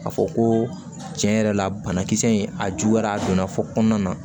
K'a fɔ ko tiɲɛ yɛrɛ la banakisɛ in a juguyara a donna fo kɔnɔna na